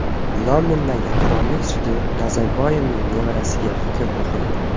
Londondagi qirollik sudi Nazarboyevning nevarasiga hukm o‘qidi.